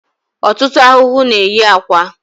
Ọtụtụ ahụhụ na-eyi akwa